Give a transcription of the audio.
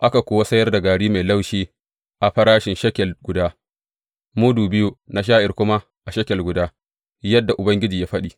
Aka kuwa sayar da gari mai laushi a farashin shekel guda, mudu biyu na sha’ir kuma a shekel guda, yadda Ubangiji ya faɗi.